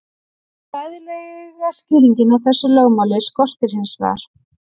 Fræðilega skýringu á þessu lögmáli skorti hins vegar.